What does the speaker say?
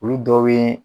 Olu dɔw bɛ